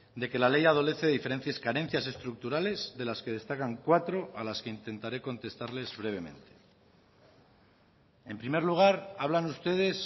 de que la ley adolece diferencias carencias estructurales de las que destacan cuatro a las que intentaré contestarles brevemente en primer lugar hablan ustedes